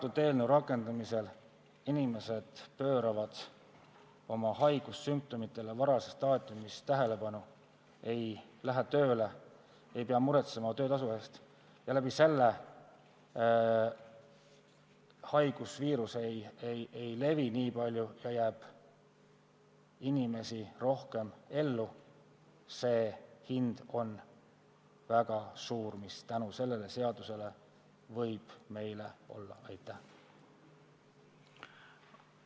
Kui selle eelnõu rakendumisel inimesed pööravad oma haigussümptomitele varases staadiumis tähelepanu, st ei lähe tööle, siis ei pea nad muretsema töötasu pärast, selle tõttu ka haigusviirus ei levi nii palju ja inimesi jääb rohkem ellu, seega see hind, mis meil tänu sellele seadusele võib olla, on väga suur.